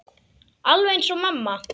Alveg eins og mamma.